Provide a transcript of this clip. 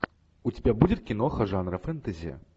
у тебя будет киноха жанра фэнтези